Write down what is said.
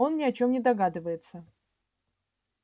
он ни о чём не догадывается